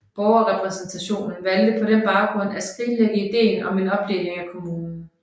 Borgerrepræsentationen valgte på den baggrund at skrinlægge ideen om en opdeling af kommunen